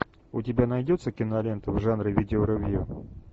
у тебя найдется кинолента в жанре видеоревью